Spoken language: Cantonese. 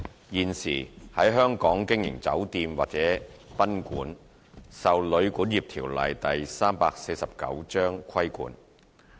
現時，在香港經營酒店或賓館受《旅館業條例》規管。